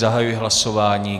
Zahajuji hlasování.